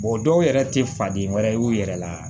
dɔw yɛrɛ tɛ faden wɛrɛ ye u yɛrɛ la